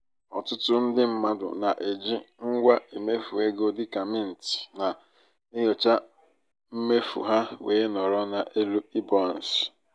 ọtụtụ ndị mmadụ na-eji ngwa mmefu ego dị ka mint na-enyocha mmefu ha wee nọrọ n'elu iboances.